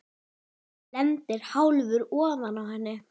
Lendir hálfur ofan á henni.